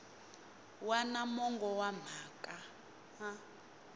wana mongo wa mhaka a